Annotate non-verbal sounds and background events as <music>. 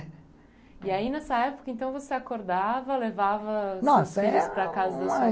É. E aí, nessa época, então, você acordava, não, levava seus filhos para a casa da sua <unintelligible>